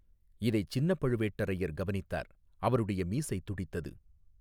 இதைச் சின்னப்பழுவேட்டரையர் கவனித்தார் அவருடைய மீசை துடித்தது.